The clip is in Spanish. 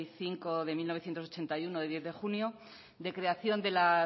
cinco barra mil novecientos ochenta y uno de diez de junio de creación de la